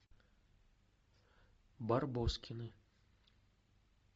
барбоскины